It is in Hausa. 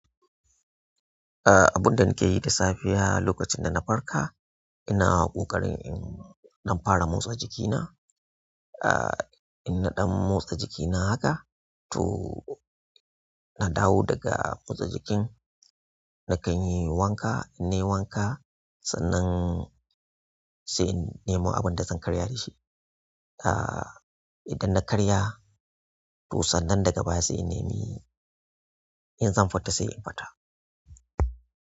Aaa, abun da nake yi da safiya lokacin da na farka, ina ƙoƙarin in fara motsa jikina. Aa, in naɗan motsa jikina haka to na dawo daga motsa jikin, nakan yi wanka, in nayi wanka sannan sai in nemi abinda zan karya dashi. Aa, idan na karya, to sannan daga baya sai in neme in zan fita sai in fita.